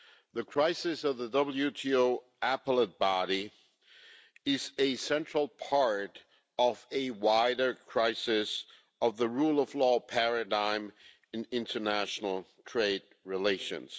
The crisis of the WTO Appellate Body is a central part of a wider crisis of the rule of law paradigm in international trade relations.